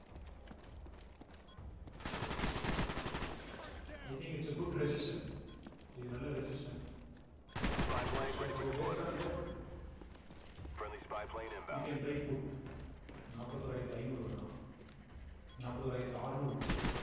i think it's a good resistant இது நல்ல resistant so based on that we can try put நாப்பத்தி ஓராயிரத்தி ஐநூறு வேணாம் நாற்பத்தி ஓராயிரத்தி அறுநூறு put உ